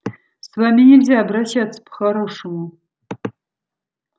с вами нельзя обращаться по-хорошему